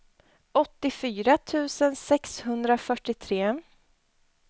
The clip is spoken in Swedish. åttiofyra tusen sexhundrafyrtiotre